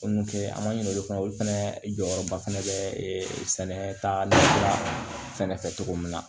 an ma ɲini olu fana olu fɛnɛ jɔyɔrɔba fɛnɛ bɛ sɛnɛta la fɛnɛ fɛ cogo min na